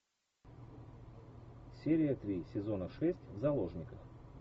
серия три сезона шесть в заложниках